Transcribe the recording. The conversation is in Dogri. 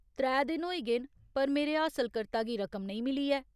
त्रै दिन होई गे न, पर मेरे हासलकर्ता गी रकम नेईं मिली ऐ।